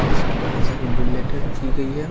जिसमें बहुत सारी बुलेटें रखी गई है।